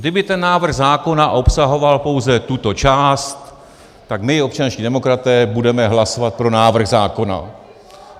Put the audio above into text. Kdyby ten návrh zákona obsahoval pouze tuto část, tak my občanští demokraté budeme hlasovat pro návrh zákona.